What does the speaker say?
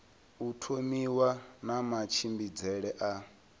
u thomiwa na matshimbidzele a